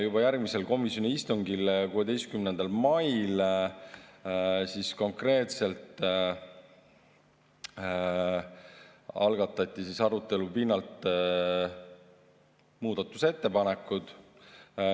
Juba järgmisel komisjoni istungil, 16. mail algatati arutelu pinnalt muudatusettepanekud.